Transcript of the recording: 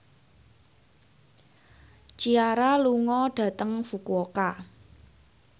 Ciara lunga dhateng Fukuoka